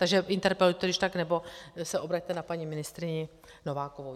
Takže interpelujte když tak nebo se obraťte na paní ministryni Novákovou.